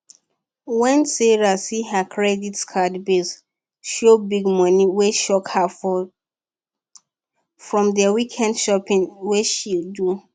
wen sarah see her credit card bill show big money wey shock her from dey weekend shopping wey she do